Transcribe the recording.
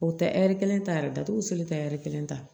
O tɛ hɛri kelen tatu selen tɛ kelen ta